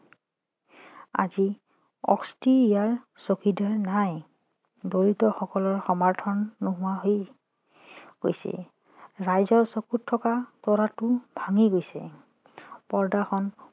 আজি অস্থি ইয়াৰ চকিদাৰ নাই দৰিদ্ৰ সকলৰ সমৰ্থন নোহোৱা হৈ গৈছে ৰাইজৰ চকুত থকা তৰাটো ভাঙি গৈছে পৰ্দাখন